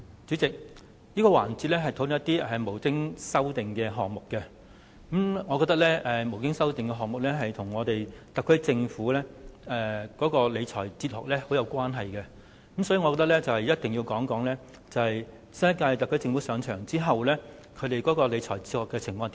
主席，這個環節是討論沒有修正案的總目，我認為沒有修正案的總目與特區政府的理財哲學息息相關，所以必須談論新一屆特區政府上場後的理財哲學。